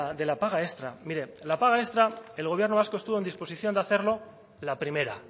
de la paga extra mire la paga extra el gobierno vasco estuvo en disposición de hacerlo la primera